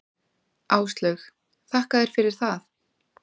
Áslaug: Þakka þér fyrir það.